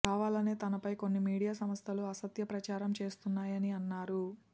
కావాలనే తనపై కొన్ని మీడియా సంస్థలు అసత్య ప్రచారం చేస్తున్నాయని అన్నారు